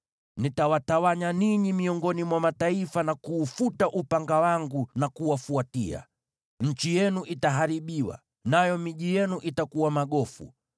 Nitawatawanya ninyi miongoni mwa mataifa, na kuufuta upanga wangu na kuwafuatia. Nchi yenu itaharibiwa, nayo miji yenu itakuwa magofu.